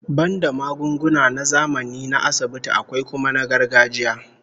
Banda magunguna na zamani na asibiti, akwai kuma na gargajiya